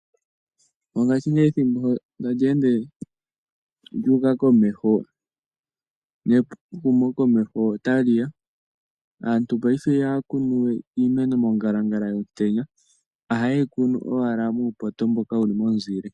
Mongashingeyo ethimbo tali ende lya uka komeho, nehumo komeho otali ya, aantu paife iha ya kunu we iimeno mongalangala yomutenya oha ye yi kunu owala muupoto mboka wuli momuzile.